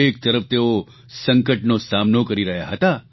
એક તરફ તેઓ સંકટનો સામનો કરી રહ્યા હતા